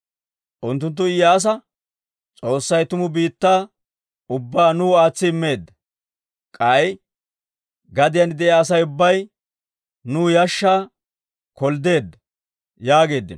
Unttunttu Iyyaasa, «S'oossay tumu biittaa ubbaa nuw aatsi immeedda. K'ay gadiyaan de'iyaa Asay ubbay nuw yashshaa kolddeedda» yaageeddino.